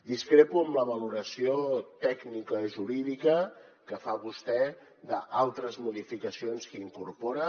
discrepo amb la valoració tècnica i jurídica que fa vostè d’altres modificacions que incorpora